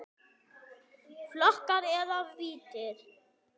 Flokkar eða víddir